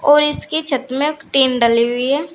और इसकी छत में एक टीन डली हुई है।